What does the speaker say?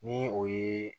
Ni o ye